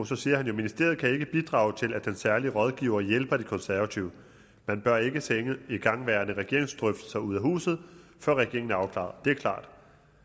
så siger han ministeriet kan ikke bidrage til at den særlige rådgiver hjælper de konservative man bør ikke sende igangværende regeringsdrøftelser ud af huset før regeringen er afklaret det er klart